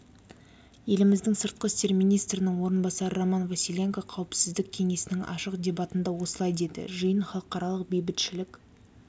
еліміздің сыртқы істер министрінің орынбасары роман василенко қауіпсіздік кеңесінің ашық дебатында осылай деді жиын халықаралық бейбітшілік